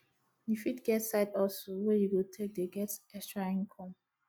you fit get side hustle wey you go take dey get extra income